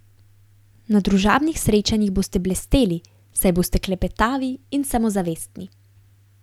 Na družabnih srečanjih boste blesteli, saj boste klepetavi in samozavestni.